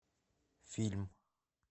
фильм